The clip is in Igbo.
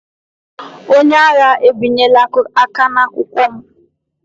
Onye agha ebinyela aka n'akwụkwọ m.